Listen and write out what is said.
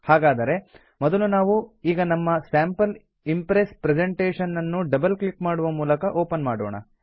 ಹಾಗಾದರೆ ಮೊದಲು ನಾವು ಈಗ ನಮ್ಮ ಸ್ಯಾಂಪಲ್ ಇಂಪ್ರೆಸ್ ಪ್ರೆಸೆಂಟೇಶನ್ ನನ್ನು ಡಬಲ್ ಕ್ಲಿಕ್ ಮಾಡುವ ಮೂಲಕ ಓಪನ್ ಮಾಡೋಣ